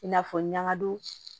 I n'a fɔ ɲagadon